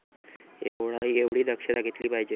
एवढी दक्षता घेतली पाहिजे.